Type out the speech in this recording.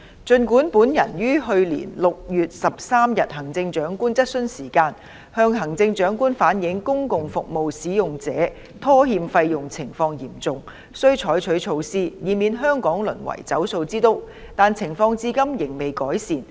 儘管本人於去年6月13日行政長官質詢時間，向行政長官反映公共服務使用者拖欠費用情況嚴重，須採取措施以免香港淪為"走數之都"，但情況至今未見改善。